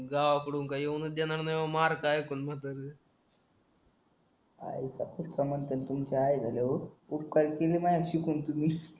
गावाकडून काय येऊनच देणार नाही मार्क एकूण म्हातार आईचा खूट्टा उपकार केले माझ्यावर शिकून तुम्ही